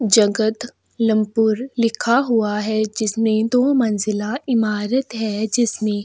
जगदलपुर लिखा हुआ है जिसमें दो मंजिला इमारत है जिसमें --